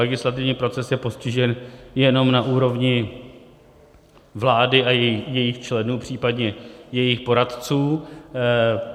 Legislativní proces je postižen jenom na úrovni vlády a jejích členů, případně jejích poradců.